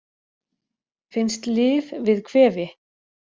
Finnst lyf við kvefi